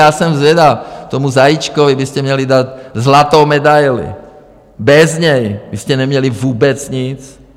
Já jsem zvědav, tomu Zajíčkovi byste měli dát zlatou medaili, bez něj byste neměli vůbec nic.